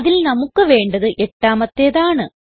അതിൽ നമുക്ക് വേണ്ടത് എട്ടമാത്തേത് ആണ്